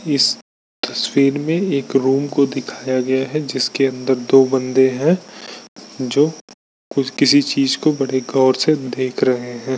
इस तस्वीर में एक रूम को दिखाया गया है जिसके अंदर दो बंदे है जो किसी चीज को बड़े गौर से देख रहे है।